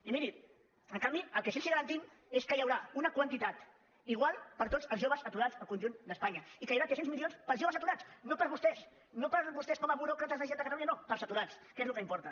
i miri en canvi el que sí que els garantim és que hi haurà una quantitat igual per a tots els joves aturats al conjunt d’espanya i que hi haurà tres cents milions per als joves aturats no per a vostès no per a vostès com a buròcrates la generalitat de catalunya no per als aturats que és el que importa